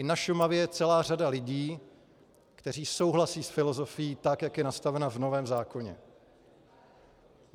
I na Šumavě je celá řada lidí, kteří souhlasí s filozofií tak, jak je nastavena v novém zákoně.